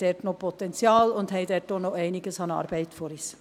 Wir haben da noch Potenzial und wir haben auch noch einiges an Arbeit vor uns.